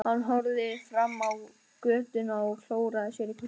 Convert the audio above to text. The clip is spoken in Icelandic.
Hann horfði fram á götuna og klóraði sér í kollinum.